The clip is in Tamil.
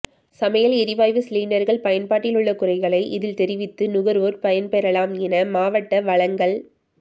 சமையல் எரிவாயு சிலிண்டர்கள் பயன்பாட்டிலுள்ள குறைகளை இதில் தெரிவித்து நுகர்வோர் பயன்பெறலாம் என மாவட்ட வழங்கல்